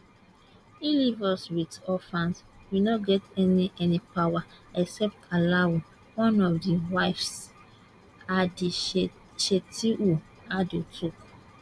e leave us wit orphans we no get any any power power except allahu one of di wives hadishetu audu tok